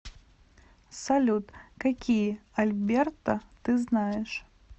салют какие альберта ты знаешь